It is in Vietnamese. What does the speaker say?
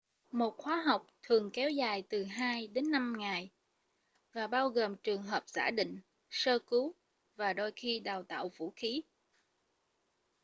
một khóa học thường kéo dài từ 2-5 ngày và bao gồm trường hợp giả định sơ cứu và đôi khi đào tạo vũ khí